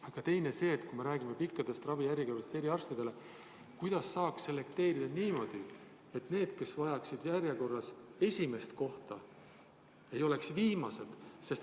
Aga teine asi on see, et kui me räägime pikkadest ravijärjekordadest eriarstide juurde, siis kuidas saaks selekteerida niimoodi, et need, kes vajaksid järjekorras esimest kohta, ei oleks viimased.